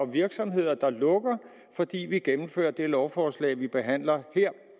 virksomheder der lukker fordi vi gennemfører det lovforslag vi behandler her